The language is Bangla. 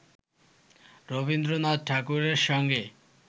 রবীন্দ্রনাথ ঠাকুরের সঙ্গে